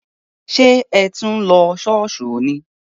Sé o tí ń lo Ṣọọṣ ni?